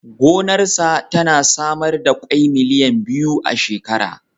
Gonarsa tana samar da ƙwai miliyan biyu a shekara.